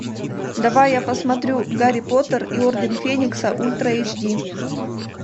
давай я посмотрю гарри поттер и орден феникса ультра эйч ди